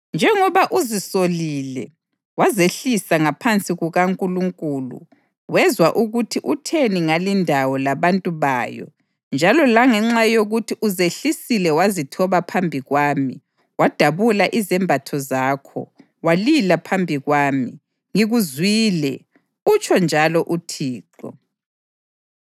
Njengoba uzisolile wazehlisa ngaphansi kukaNkulunkulu wezwa ukuthi utheni ngalindawo labantu bayo njalo langenxa yokuthi uzehlisile wazithoba phambi kwami wadabula izembatho zakho walila phambi kwami, ngikuzwile, utsho njalo uThixo.